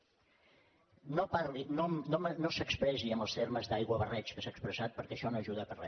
no parli no s’expressi en els termes d’aiguabarreig que s’ha expressat perquè això no ajuda per re